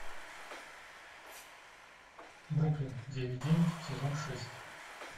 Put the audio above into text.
бруклин девять девять сезон шесть